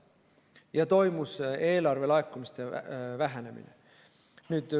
Ja eelarve laekumised vähenesid.